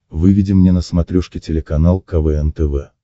выведи мне на смотрешке телеканал квн тв